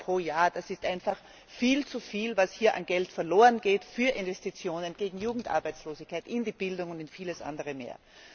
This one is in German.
EUR pro Jahr, das ist einfach viel zu viel, was hier an Geld verloren geht für Investitionen gegen Jugendarbeitslosigkeit, in die Bildung und in vieles andere mehr.